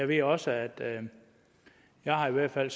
ved også at jeg i hvert fald